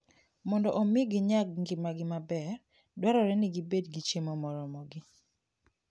Mondo omi ginyag ngimagi maber, dwarore ni gibed gi chiemo moromogi.